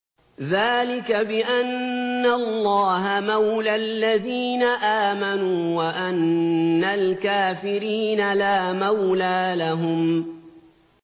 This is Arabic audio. ذَٰلِكَ بِأَنَّ اللَّهَ مَوْلَى الَّذِينَ آمَنُوا وَأَنَّ الْكَافِرِينَ لَا مَوْلَىٰ لَهُمْ